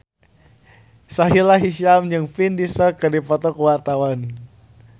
Sahila Hisyam jeung Vin Diesel keur dipoto ku wartawan